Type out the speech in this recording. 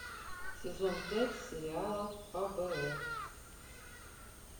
сезон пять сериала фбр